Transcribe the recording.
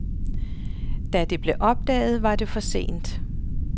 Da det blev opdaget, var det for sent.